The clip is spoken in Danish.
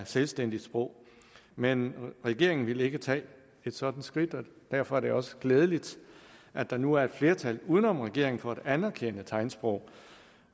selvstændigt sprog men regeringen ville ikke tage et sådant skridt og derfor er det også glædeligt at der nu er et flertal uden om regeringen for at anerkende tegnsprog